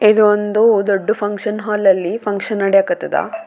ಇದೊಂದು ದೊಡ್ಡ್ function hall ಅಲ್ಲಿ ಫಂಕ್ಷನ್ ನಡಿಯಕತ್ತದ.